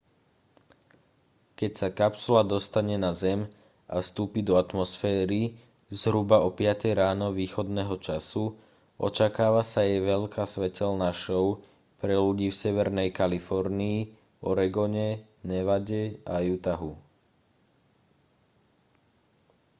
keď sa kapsula dostane na zem a vstúpi do atmosféry zhruba o piatej ráno východného času očakáva sa jej veľká svetelná šou pre ľudí v severnej kalifornii oregone nevade a utahu